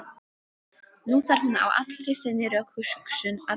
Nú þarf hún á allri sinni rökhugsun að halda.